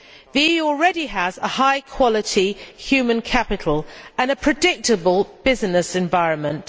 The EU already has a high quality human capital and a predictable business environment.